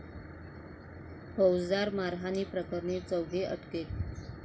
फौजदार मारहाणप्रकरणी चौघे अटकेत